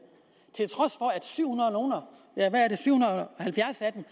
til at syv hundrede og halvfjerds af dem